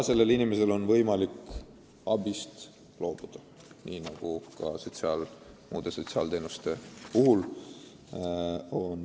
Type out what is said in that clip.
Seejuures saab iga inimene abist loobuda, nii nagu ka muude sotsiaalteenuste puhul.